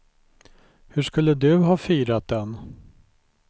Hur skulle du ha firat den?